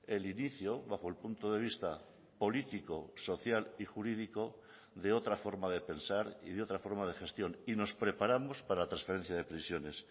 el inicio bajo el punto de vista político social y jurídico de otra forma de pensar y de otra forma de gestión y nos preparamos para la transferencia de prisiones